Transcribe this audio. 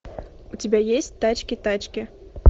у тебя есть тачки тачки